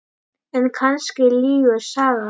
En kannski lýgur sagan.